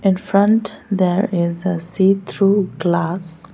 in front there is a see through glass.